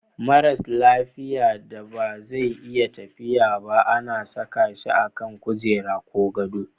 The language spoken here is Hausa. Maras lafiya da ba zai iya tafiya ba ana saka shi a kan kujera ko gado.